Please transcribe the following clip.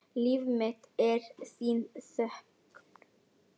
Líf mitt er þín þögn.